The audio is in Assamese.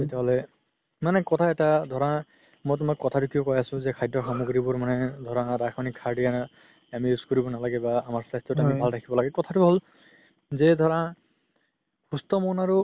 তেতিয়া হ'লে মানে কথা এটা ধৰা মই তুমাক কথাতো কিয় কই আছো যে খাদ্য সামগ্ৰীবোৰ মানে ধৰা ৰাসায়নিক সাৰ দিয়া আমি use কৰিব নালাগে বা আমাৰ স্বাস্থ্যতো আমি ভাল ৰাখিব লাগে কথাতো হ'ল যে ধৰা সুস্থ মন আৰু